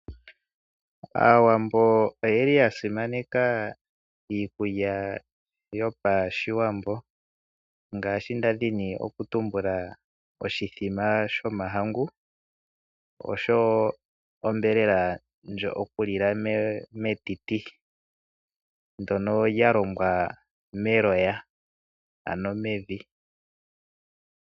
Aawambo oyeli ya simaneka iikulya yopashigwana ngaashi nda dhinioku tumbula oshithima shomahangu oshowo onyama yokulila metiti, ndono lya longwa meloya ano mevi.